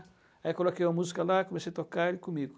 Aí coloquei uma música lá, comecei a tocar ele comigo.